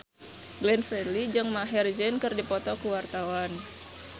Glenn Fredly jeung Maher Zein keur dipoto ku wartawan